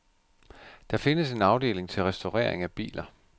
Der findes en afdeling til restaurering af biler.